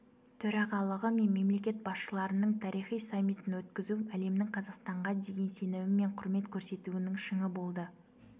төрағалығы мен мемлекет басшыларының тарихи саммитін өткізу әлемнің қазақстанға деген сенімі мен құрмет көрсетуінің шыңы болды